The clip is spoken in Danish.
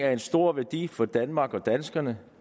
har en stor værdi for danmark og danskerne